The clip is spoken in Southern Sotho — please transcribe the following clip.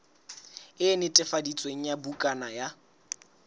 e netefaditsweng ya bukana ya